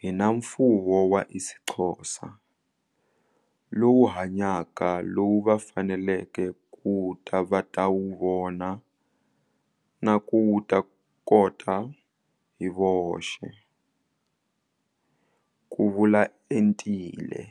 hi na mfuwo wa isiXhosa, lowu hanyaka lowu va faneleke ku ta va ta wu vona na ku wu ta kota hi voxe, ku vula Entile.